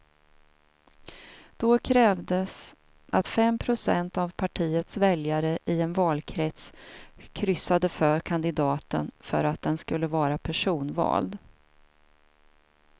Då krävdes att fem procent av partiets väljare i en valkrets kryssade för kandidaten för att den skulle vara personvald.